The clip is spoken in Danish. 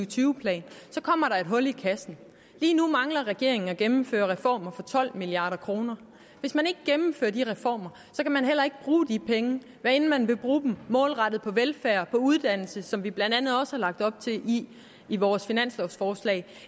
tyve planen kommer der et hul i kassen lige nu mangler regeringen at gennemføre reformer for tolv milliard kr og hvis man ikke gennemfører de reformer kan man heller ikke bruge de penge hvad enten man vil bruge dem målrettet på velfærd og uddannelse som vi blandt andet også har lagt op til i i vores finanslovforslag